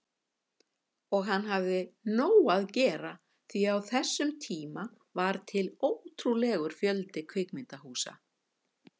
Og hann hafði nóg að gera því á þessum tíma var til ótrúlegur fjöldi kvikmyndahúsa.